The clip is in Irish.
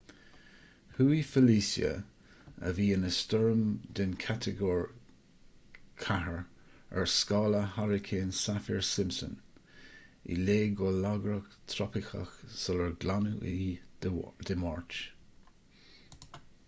chuaigh felicia a bhí ina stoirm den chatagóir 4 ar scála hairicín saffir-simpson i léig go lagrach trópaiceach sular glanadh í dé máirt